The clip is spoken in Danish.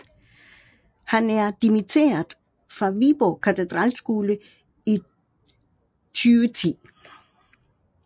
Han er dimitteret fra Viborg Katedralskole i 2010